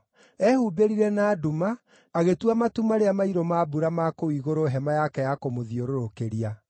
Ehumbĩrire na nduma, agĩtua matu marĩa mairũ ma mbura ma kũu igũrũ hema yake ya kũmũthiũrũrũkĩria.